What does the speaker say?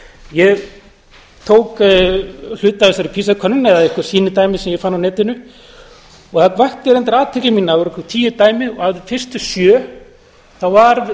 ég tók hluta af þessari pisa könnun eða einhver sýnidæmi sem ég fann á netinu og það vakti reyndar athygli mína það voru einhver tíu dæmi og af þeim fyrstu sjö var í